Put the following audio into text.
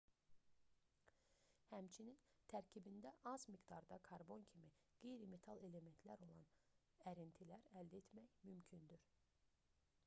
həmçinin tərkibində az miqdarda karbon kimi qeyri-metal elementlər olan ərintilər əldə etmək mümkündür